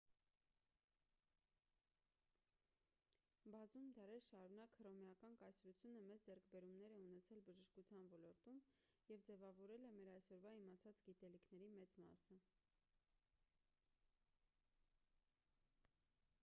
բազում դարեր շարունակ հռոմեական կայսրությունը մեծ ձեռքբերումներ է ունեցել բժշկության ոլորտում և ձևավորել է մեր այսօրվա իմացած գիտելիքների մեծ մասը